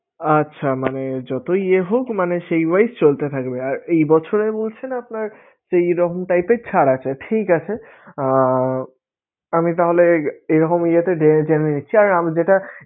আচ্ছা মানে যতই ইয়ে হোক মানে সেই wise চলতে থাকবে আর এই বছরে বলছেন আপনার এইরকম type এর ছাড় আছে ঠিক আছে! আহ আমি তাহলে এরকম ইয়েতে দেখে জেনে নিচ্ছি, আমি যেটা